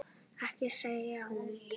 Ekki segir hún.